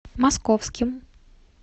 московским